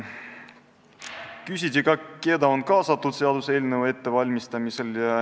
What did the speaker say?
Küsiti ka, kes on olnud kaasatud seaduseelnõu ettevalmistamisse.